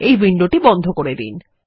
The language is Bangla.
এই উইন্ডোটি বন্ধ করে দিন